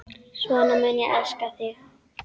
Svona mun ég elska þig.